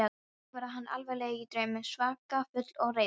Þannig var hann allavega í draumnum, svaka fúll og reiður.